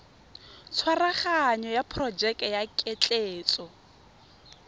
tshwaraganyo ya porojeke ya ketleetso